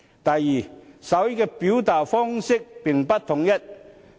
第二，手語的表達方式並不統一。